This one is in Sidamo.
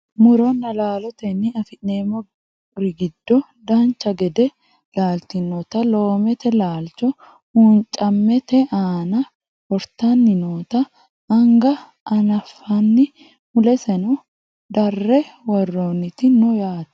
muronna laalotenni afi'nanniri giddo dancha gede laaltinota loomete laalcho huuncammete aana wortanni noota anga anafanni muleseno darre woroonniti no yaate